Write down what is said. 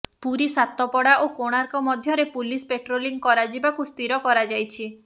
ପୁରୀ ସାତପଡା ଓ କୋଣାର୍କ ମଧ୍ୟରେ police patrolling କରାଯିବାକୁ ସ୍ଥିର କରାଯାଇଛି